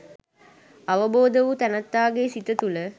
අවබෝධ වූ තැනැත්තාගේ සිත තුළ